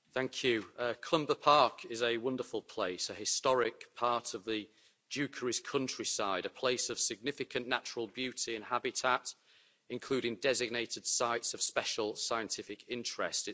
Mr President, Clumber Park is a wonderful place, a historic part of the Dukeries countryside, a place of significant natural beauty and habitat, including designated sites of special scientific interest.